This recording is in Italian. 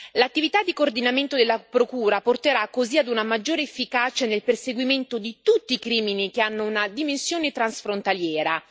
L'attività di coordinamento della procura porterà così ad una maggiore efficacia nel perseguimento di tutti i crimini che hanno una dimensione transfrontaliera.